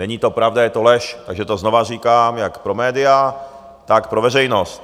Není to pravda, je to lež, takže to znovu říkám jak pro média, tak pro veřejnost.